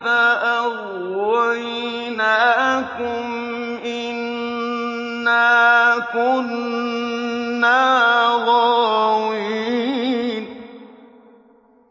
فَأَغْوَيْنَاكُمْ إِنَّا كُنَّا غَاوِينَ